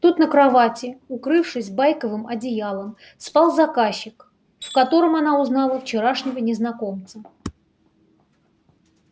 тут на кровати укрывшись байковым одеялом спал заказчик в котором она узнала вчерашнего незнакомца